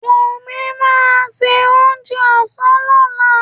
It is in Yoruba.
Wùmí máa se oúnjẹ òsán lọ́lá